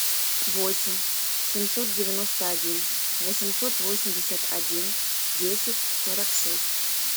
восемь семьсот девяносто один восемьсот восемьдесят один десять сорок шесть